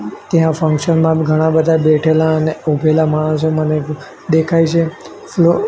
ત્યાં ફંક્શન માં ઘણા બધા બેઠેલા અને ઊભેલા માણસો મને દેખાય છે